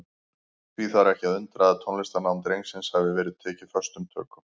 Því þarf ekki að undra að tónlistarnám drengsins hafi verið tekið föstum tökum.